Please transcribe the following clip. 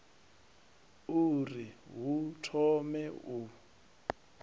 u ri hu thome u